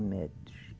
metros.